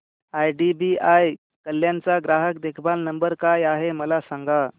IDBI Kalyan चा ग्राहक देखभाल नंबर काय आहे मला सांगा